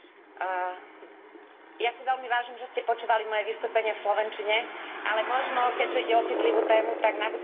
Ja si veľmi vážim, že ste počúvali moje vystúpenie v slovenčine, ale možno keďže ide o citlivú tému bude nabudúce lepšie v poľštine.